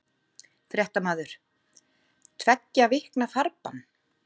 Fréttamaður: Tveggja vikna farbann?